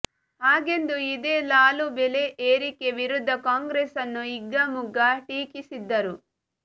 ಹಾಗೆಂದು ಇದೇ ಲಾಲೂ ಬೆಲೆ ಏರಿಕೆ ವಿರುದ್ಧ ಕಾಂಗ್ರೆಸ್ಸನ್ನು ಹಿಗ್ಗಾಮುಗ್ಗಾ ಟೀಕಿಸಿದ್ಧರು